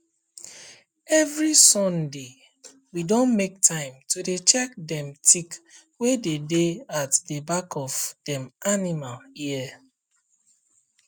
every sundaywe don make time to dey check dem tick wey dey dey at the back of dem animal ear